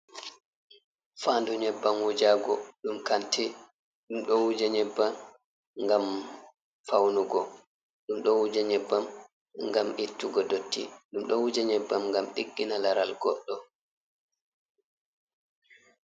Faandu nyebbam wujago ɗum kanti, ɗum ɗo wuja nyebbam ngam faunugo, ɗum ɗo wuja nyebbam ngam ittugo dotti, ɗum ɗo wuja nyebbam ngam diggina laral goɗɗo.